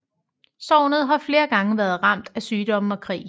Sognet har flere gange været ramt af sygdomme og krig